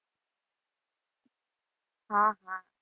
હા હા.